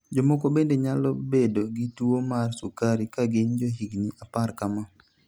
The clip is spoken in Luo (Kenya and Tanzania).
Jomoko bende nyalo bedo gi tuwo mar sukari ka gin johigini apar kama.